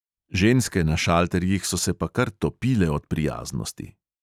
Ženske na šalterjih so se pa kar topile od prijaznosti.